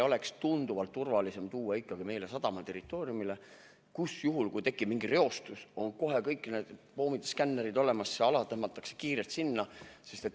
Oleks tunduvalt turvalisem tuua see ikkagi sadamaterritooriumile, kus juhul, kui tekib mingi reostus, on kohe kõik need poomid ja skannerid olemas, reostus tõmmatakse kiirelt sinna.